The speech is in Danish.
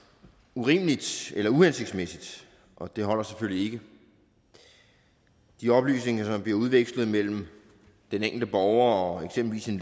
urimeligt eller uhensigtsmæssigt og det holder selvfølgelig ikke de oplysninger som bliver udvekslet mellem den enkelte borger og eksempelvis en